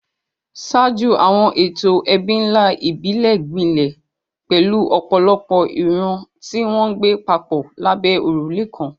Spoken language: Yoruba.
Ṣáájú, àwọn ètò ẹbí ńlá ìbílẹ̀ gbilẹ̀, pẹ̀lú ọ̀pọ̀lọpọ̀ ìran tí wọ́n ń gbé papọ̀ lábẹ́ òrùlé kan.